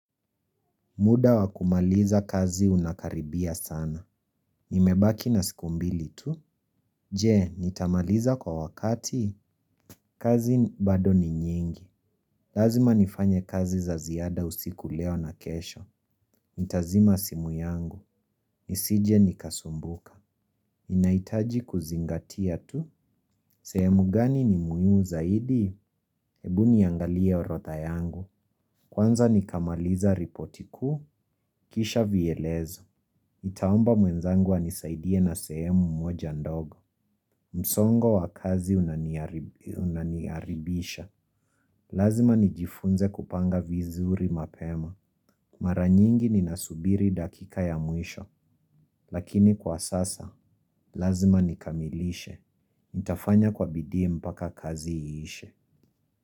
Muda wa kumaliza kazi unakaribia sana. Nimebaki na siku mbili tu. Je, nitamaliza kwa wakati. Kazi bado ni nyingi. Lazima nifanye kazi za ziada usiku leo na kesho. Nitazima simu yangu. Nisije nikasumbuka. Ninahitaji kuzingatia tu. Sehemu gani ni muhimu zaidi? Ebu niangalie orodha yangu. Kwanza nikamaliza ripoti kuu. Kisha vielezo. Nitaomba mwenzangu anisaidie na sehemu moja ndogo. Msongo wa kazi unaniharibisha. Lazima nijifunze kupanga vizuri mapema. Mara nyingi ninasubiri dakika ya mwisho. Lakini kwa sasa, lazima nikamilishe. Nitafanya kwa bidii mpaka kazi iishe.